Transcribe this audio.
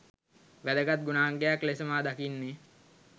වැදගත් ගුණාංගයක් ලෙස මා දකින්නේ